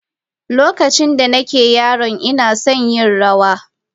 Lokacin da nake yaro ina son yin rawa.